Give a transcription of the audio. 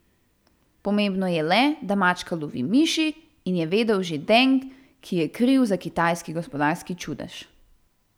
Pomembno je le, da mačka lovi miši, je vedel že Deng, ki je kriv za kitajski gospodarski čudež.